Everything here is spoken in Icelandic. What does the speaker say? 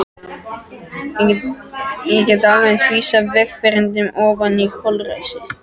Ég gæti alveg eins vísað vegfarendum oní holræsin.